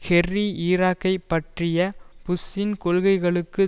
Kerry ஈராக்கைப் பற்றிய புஷ்ஷின் கொள்கைகளுக்கு